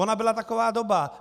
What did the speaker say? Ona byla taková doba.